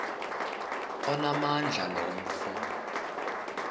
onamandla lo mfo